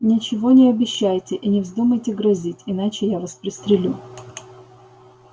ничего не обещайте и не вздумайте грозить иначе я вас пристрелю